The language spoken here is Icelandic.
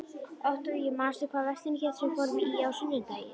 Októvía, manstu hvað verslunin hét sem við fórum í á sunnudaginn?